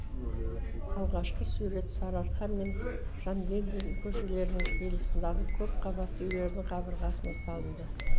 алғашқы сурет сарыарқа мен жангелдин көшелерінің қиылысындағы көпқабатты үйлердің қабырғасына салынды